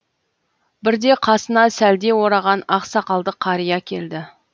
бірде қасына сәлде ораған ақ сақалды қария келді